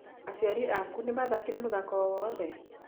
Aciari aku nĩ mathakire mũthako o wothe?